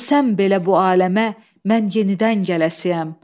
Ölsəm belə bu aləmə, mən yenidən gələsiyəm.